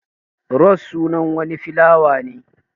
Ros sunan wani filawa ne.